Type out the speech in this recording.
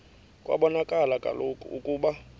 kwabonakala kaloku ukuba